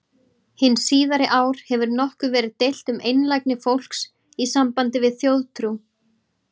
Hin síðari ár hefur nokkuð verið deilt um einlægni fólks í sambandi við þjóðtrú.